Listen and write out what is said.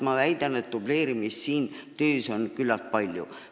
Ma nimelt väidan, et dubleerimist on selles sektoris küllaltki palju.